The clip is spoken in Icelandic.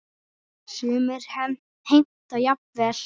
Sumir heimta jafnvel